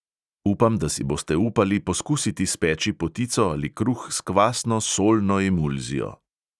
Upam, da si boste upali poskusiti speči potico ali kruh s kvasno solno emulzijo.